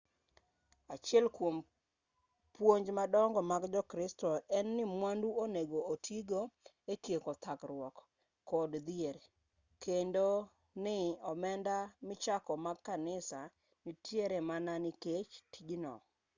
achiel kwom puonj madongo mag jo-kristo en ni mwandu onego oti go e tieko thagruok kod dhier kendo ni omenda michoko mag kanisa nitiere mana nikech tijno